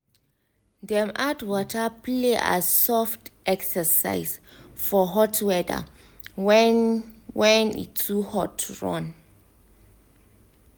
dem add water play as soft exercise for hot weather when when e too hot to run